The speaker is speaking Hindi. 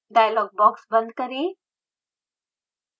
dialog box बंद करें